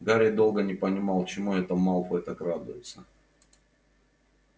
гарри долго не понимал чему это малфой так радуется